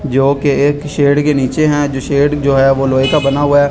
जो कि एक शेड़ के नीचे है जो शेड़ जो है वो लोहे का बना हुआ है।